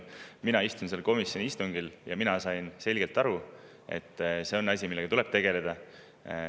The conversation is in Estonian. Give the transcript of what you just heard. Mina istusin seal komisjoni istungil ja sain selgelt aru, et see on asi, millega tuleb tegeleda.